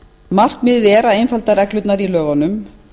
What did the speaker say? markmiðið er að einfalda reglurnar í lögunum